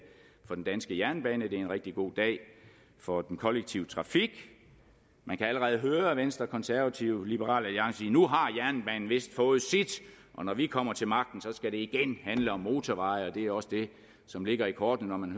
for den danske jernbane det er en rigtig god dag for den kollektive trafik man kan allerede høre venstre konservative og liberal alliance sige nu har jernbanen vist fået sit og når vi kommer til magten skal det igen handler om motorveje og det er også det som ligger i kortene